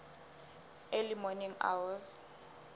early morning hours